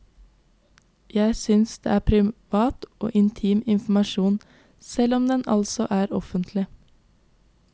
Jeg synes det er privat og intim informasjon, selv om den altså er offentlig.